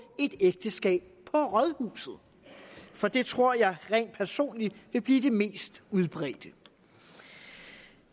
et ægteskab på rådhuset for det tror jeg rent personligt vil blive det mest udbredte